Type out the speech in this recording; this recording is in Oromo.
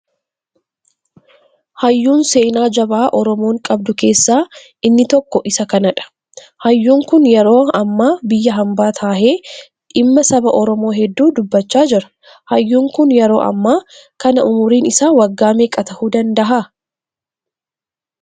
Hayyuun seenaa jabaa Oromoon qabdu keessa inni tokko isa kanaadha. Hayyuun kun yeroo hammaa biyya hambaa taahee dhimma saba Oromoo hedduu dubbachaa jira. Hayyuun kun yeroo hammaa kana umriin isaa waggaa meeqa tahuu danda'aa?